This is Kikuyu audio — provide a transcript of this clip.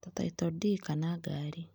Ʈa title ndii kana ngari